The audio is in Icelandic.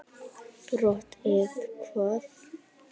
brot eða hvað?